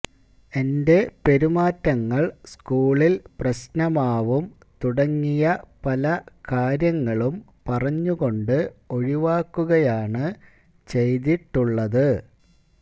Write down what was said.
എന്റെ പെരുമാറ്റങ്ങള് സ്കൂളില് പ്രശ്നമാവും തുടങ്ങിയ പല കാര്യങ്ങളും പറഞ്ഞുകൊണ്ട് ഒഴിവാക്കുകയാണ് ചെയ്തിട്ടുള്ളത്